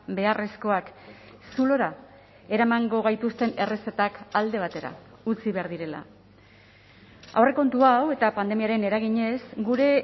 beharrezkoak zulora eramango gaituzten errezetak alde batera utzi behar direla aurrekontu hau eta pandemiaren eraginez gure